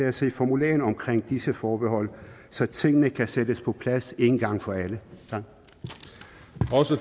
at se formuleringen omkring disse forbehold så tingene kan sættes på plads en gang for alle